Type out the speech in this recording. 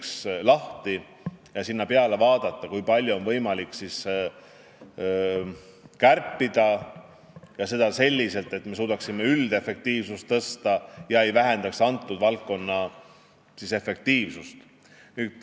Sellele võiks peale vaadata, et kui palju on seal võimalik kärpida selliselt, et me suudaksime tõsta üldefektiivsust, vähendamata kõnealuse valdkonna efektiivsust.